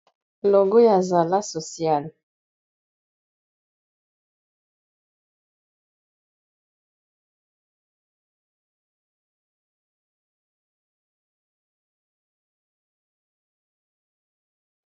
logo ya zala sociale